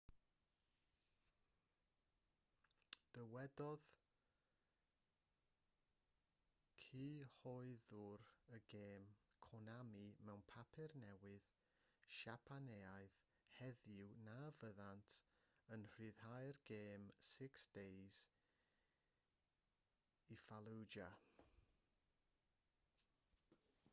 dywedodd cyhoeddwr y gêm konami mewn papur newydd siapaneaidd heddiw na fyddant yn rhyddhau'r gêm six days in fallujah